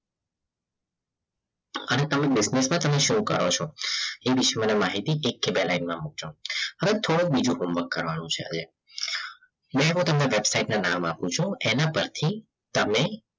અને તમે business પણ તમે show કરો છો એ વિશ્વને માહિતી એક થી બે લાઈનમાં મુકજો હવે થોડુંક બીજું home work કરવાનું છે મેં હો વેબસાઈટના નામ આપું છું એના પરથી તમે